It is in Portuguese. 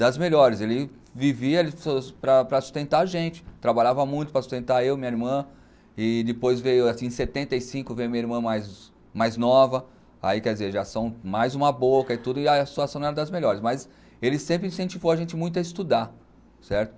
Das melhores, ele vivia para para sustentar a gente, trabalhava muito para sustentar eu e minha irmã, e depois veio assim em setenta e cinco veio minha irmã mais mais nova, aí quer dizer, já são mais uma boca e tudo, e a situação não era das melhores, mas ele sempre incentivou a gente muito a estudar, certo?